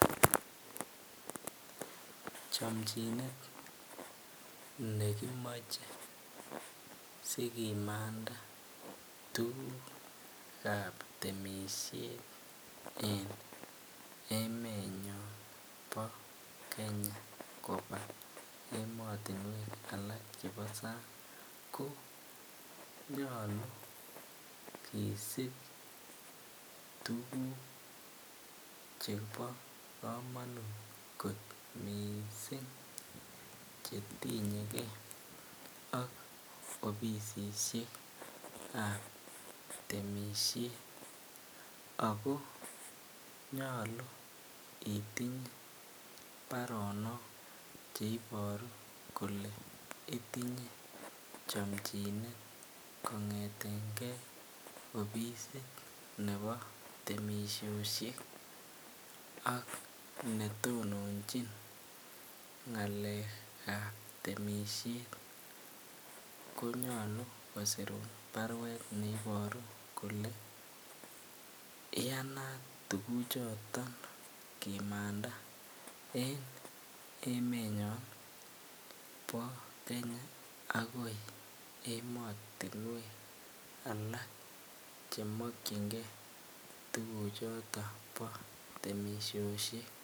Chamchinet ne kimache sikimanda tuguk ap temishet en emenyon pa Kenya kopa ematunwek alak chepo sang' ko nyalu kisip tuguk che pa kamanut kot missing' che tinye ge ak opisisshek ap temishet. Ako nyalu itinye paronok che iparu kole itinye chamchinet kong'eten gei opisit nepo temishoshet ak netononchin ng'alek ap temishen konyalu kosirun parwet ne iparu kole iyanat tuguchoton kimanda en emenyon pa Kenya akoi ematinwek alak che makchingei tuhuchoton po temishoshek.